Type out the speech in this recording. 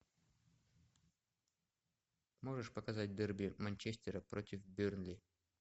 можешь показать дерби манчестера против бернли